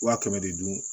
Wa kɛmɛ de dun